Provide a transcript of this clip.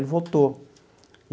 Ele voltou.